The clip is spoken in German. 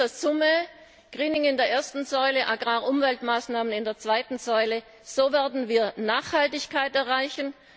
Und in dieser Summe Greening in der ersten Säule, Agar Umweltmaßnahmen in der zweiten Säule werden wir Nachhaltigkeit erreichen.